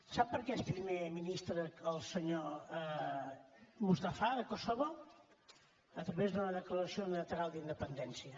sap per què és primer ministre el senyor mustafa de kosovo a través d’una declaració unilateral d’independència